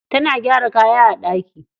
Tana gyara kaya a ɗaki.